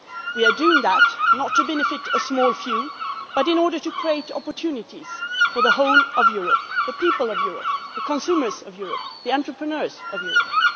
We are doing that not to benefit a small few, but in order to create opportunities for the whole of Europe the people of Europe, the consumers of Europe, the entrepreneurs of Europe.